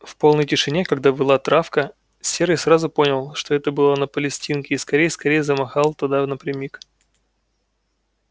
в полной тишине когда выла травка серый сразу понял что это было на палестинке и скорей скорей замахал туда напрямик